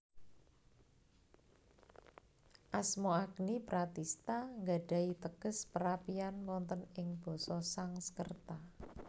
Asma Agni Pratistha nggadhahi teges Perapian wonten ing Basa Sangskerta